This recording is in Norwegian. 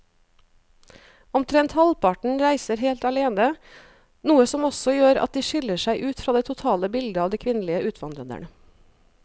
Omtrent halvparten reiser helt alene, noe som også gjør at de skiller seg ut fra det totale bildet av de kvinnelige utvandrerne.